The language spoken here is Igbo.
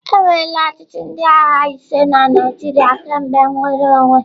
Enweela ochịchị ndị agha ise na Naịjirịa kemgbe nnwere onwe.